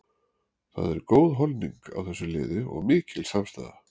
Það er góð holning á þessu liði og mikil samstaða.